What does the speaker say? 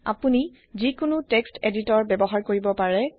আপুনি জিকুনু text editor ব্যৱহাৰ কৰিব পাৰে